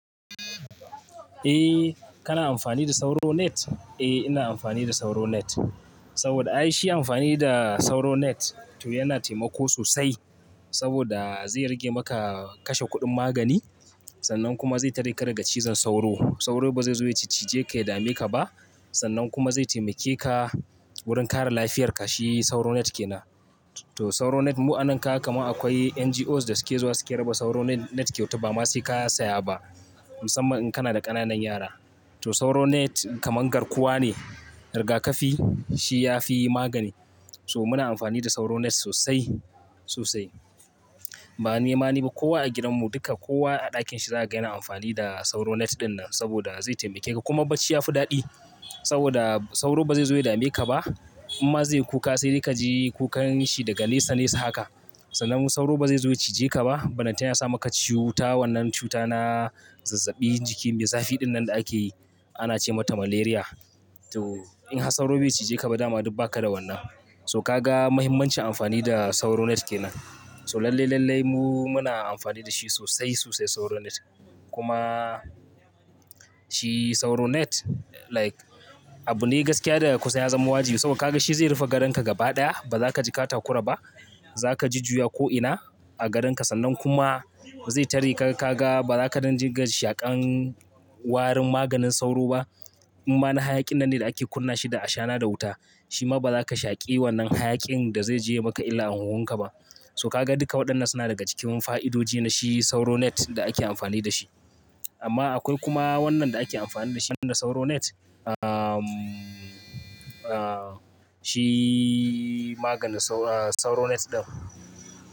Eh kana amfani da sauro net? Eh ina amfani da sauro net. Saboda ai shi amfani da sauro net to yana taimako sosai. Saboda zai rage maka kashe kuɗin magani, sannan kuma zai tare ka daga cizon sauro. Sauro ba zai zo ya cije ka ya dame ka ba, sannan kuma zai taimake ka wurin kare lafiyar ka, shi sauro net kenan. To sauro net mu'ananka kamar akwai NGOs da suke zuwa suke raba sauro net net kyauta ba ma sai ka saya ba. Musamman in kana da ƙananan yara. To sauro net kaman garkuwa ne, rigakafi, shi yafi magani. So muna amfani da sauro net sosai, sosai. Ba ni ma ni ba kowa a gidan mu duka kowa a ɗakin shi za ga gani amfani da sauro net dinnan saboda zai taimake ka kuma bacci yafi daɗi. Saboda sauro bazai zo ya dame ka ba, in ma zai kuka sai ka ji ka yi kukan shi daga nesa nesa haka. Sannan sauro bazai zo ya cije ka ba, bellenta nan ya sama ka cuta wannan cuta na zazzabi jiki me zafi dinnan da ake yi ana ce mata malaria. To in har sauro bai cije ka ba dama duk ba ka da wannan. To ka ga mahimmancin amfani da sauro net kenan. So lalle lalle mu muna amfani da shi sosai sosai sauro net. Kuma shi sauro net like abu ne gaskiya daga kusa ya zama waji saboda ka ga shi zai rufe gadon ka gaba ɗaya baza ka ji katako raba. Zaka ji juya ko'ina a gadon ka sannan kuma zai tare ka ka ga baza ka nan jirga shaƙan warin maganin sauro ba. In ma na hayaƙin nanne da ake kunna shi da ashana da wuta, shi ma baza ka shaƙe wannan hayaƙin da zai je maka illa a huhun ka ba. So ka ga duka waɗannan suna daga cikin fa'idoji na shi sauro net da ake amfani da shi. Amma akwai kuma wannan da ake amfani da shi na sauro net, shi maganin sauro, sauro net ɗin.